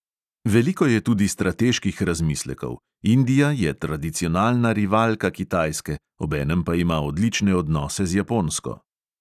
Veliko je tudi strateških razmislekov – indija je tradicionalna rivalka kitajske, obenem pa ima odlične odnose z japonsko.